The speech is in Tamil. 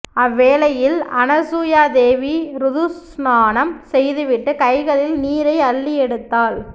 அவ்வேளையில் அனசூயாதேவி ருது ஸ்நானம் செய்து விட்டு கைகளில் நீரை அள்ளியெடுத்தாள்